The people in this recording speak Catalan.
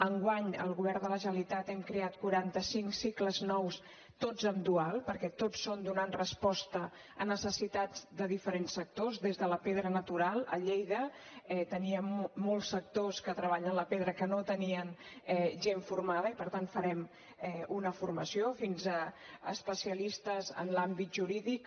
enguany al govern de la generalitat hem creat quaranta cinc cicles nous tots en dual perquè tots són donant resposta a necessitats de diferents sectors des de la pedra natural a lleida teníem molts sectors que treballen la pedra que no tenien gent formada i per tant farem una formació fins a especialistes en l’àmbit jurídic